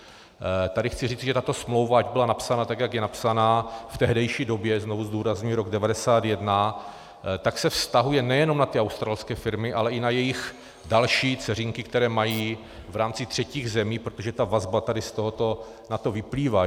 Tady chci říci, že tato smlouva, ať byla napsaná tak, jak je napsaná - v tehdejší době, znova zdůrazňuji, rok 1991 - tak se vztahuje nejenom na ty australské firmy, ale i na jejich další dceřinky, které mají v rámci třetích zemí, protože ta vazba tady z tohoto na to vyplývá.